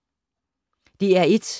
DR1